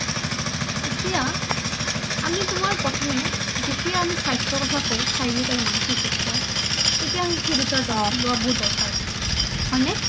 এতিয়া আমি তোমাৰ প্ৰথমে যেতিয়া আমি স্বাস্থ্য কথা কওঁ শাৰিৰীক আৰু মানসিক স্বাস্থ্য তেতিয়া সেই দুটাৰ যত্ন লোৱাৰ বহুত দৰকাৰ হয় নে?